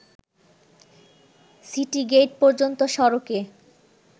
city gate পর্যন্ত সড়কে